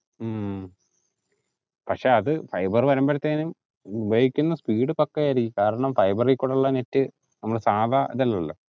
ഹും പക്ഷേ അത് fiber വരുമ്പഴേക്കും ഉപയോഗിക്കുന്ന speed പക്കായിരിക്കും കാരണം fiber ഇൽ കൂടെയുള്ള net നമ്മളെ സാധാ ഇതല്ലല്ലോ